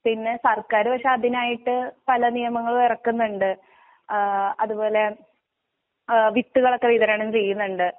പിന്നെ സർക്കാര് പക്ഷേ അതിനായിട്ട് പലനിയമങ്ങളും ഇറക്കുന്നുണ്ട് അഹ് അതുപോലെ അഹ് വിത്തുകളൊക്കെവിതരണം ചെയ്യുന്നിണ്ട്.